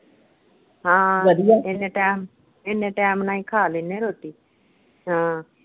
ਹਾਂ, ਇੰਨੇ time ਇੰਨੇ time ਨਾਲ ਹੀ ਖਾ ਲੈਣੇ ਰੋਟੀ। ਹਾਂ।